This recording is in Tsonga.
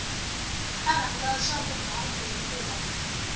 a rhandza swa vugangu hikuva